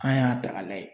An y'a ta k'a lajɛ